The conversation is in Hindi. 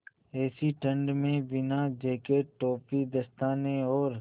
ऐसी ठण्ड में बिना जेकेट टोपी दस्तानों और